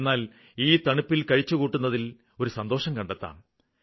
എന്നാല് ഈ തണുപ്പില് കഴിച്ചുകൂട്ടുന്നതില് ഒരു സന്തോഷം കണ്ടെത്താം